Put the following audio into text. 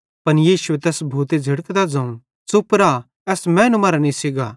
पन यीशुए तैस भूते झ़िड़कतां ज़ोवं च़ुप रा एस मैनू मरां निस्सी गा